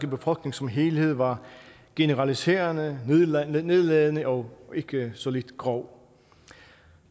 befolkning som helhed var generaliserende nedladende nedladende og ikke så lidt grov